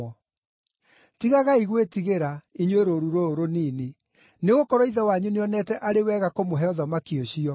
“Tigagai gwĩtigĩra, inyuĩ rũũru rũrũ rũnini, nĩgũkorwo Ithe wanyu nĩonete arĩ wega kũmũhe ũthamaki ũcio.